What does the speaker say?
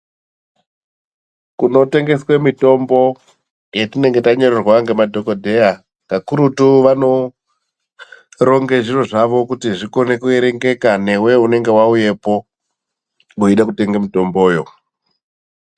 Kunotengeswe mitombo yetinenge tanyorera ngemadhogodheya, kakurutu vanoronga zviro zvavo kuti zvikone kuverengeka. Newe unonga vauyepo veida kutenge mutomboyo.